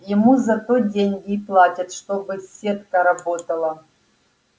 ему за то деньги и платят чтобы сетка работала